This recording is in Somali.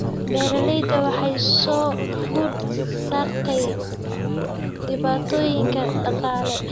Beeralayda waxaa soo food saartay dhibaatooyin dhaqaale.